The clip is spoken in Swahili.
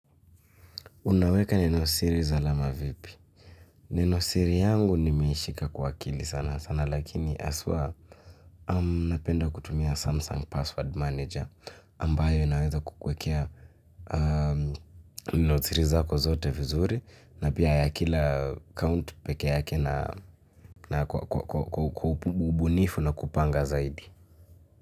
Unaweka neno siri salama vipi? Nenosiri yangu nimeishika kwa akili sana sana lakini haswa napenda kutumia samsung password manager ambayo inaweza kukuwekea nenosiri zako zote vizuri na pia ya kila account peke yake na kwa ubunifu na kupanga zaidi.